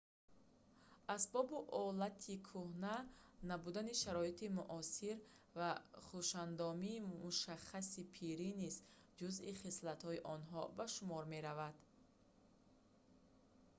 асбобу олати кӯҳна набудани шароити муосир ва хушандомии мушаххаси пирӣ низ ҷузъи хислати онҳо ба шумор меравад